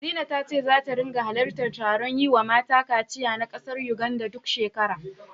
Zina ta ce zata ringa halartar taron yiwa mata kaciya na ƙasar Yuganda, duk shekara.